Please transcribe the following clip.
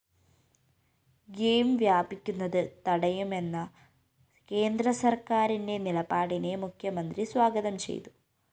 game വ്യാപിക്കുന്നത് തടയുമെന്ന കേന്ദ്രസര്‍ക്കാരിന്റെ നിലപാടിനെ മുഖ്യമന്ത്രി സ്വാഗതം ചെയ്തു